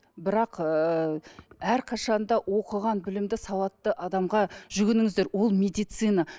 бірақ ыыы әрқашанда оқыған білімді сауатты адамға жүгініңіздер ол медицина